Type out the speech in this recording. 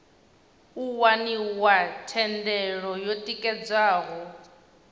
u waniwa thendelo yo tikedzwaho